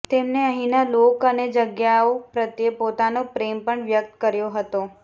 તેમણે અહીંના લોક અને જગ્યાઓ પ્રત્યે પોતાનો પ્રેમ પણ વ્યક્ત કર્યો હતો